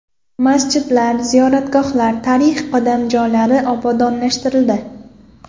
Masjidlar, ziyoratgohlar, tarixiy qadamjolar obodonlashtirildi.